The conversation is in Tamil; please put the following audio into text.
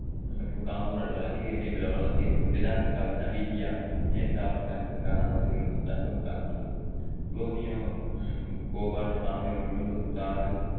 மற்றும் காங்கோ நாடுகள் அதிக எண்ணெய் வ~ வளத்தை கொண்~ தென் ஆப்ரிக்கா நமிபியா மேற்கு ஆப்ரிக்கா மற்றும் கானா நாடுகளில் தங்கம் காணப்படுகிறது குரோமியம் உம் கோபால்ட் தாமிரம் இரும்பு தாது